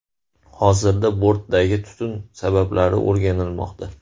Hozirda bortdagi tutun sabablari o‘rganilmoqda.